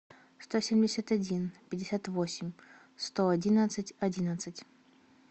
сто семьдесят один пятьдесят восемь сто одиннадцать одиннадцать